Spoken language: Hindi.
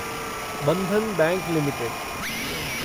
Bandhan bank limited